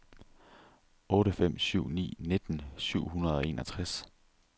otte fem syv ni nitten syv hundrede og enogtres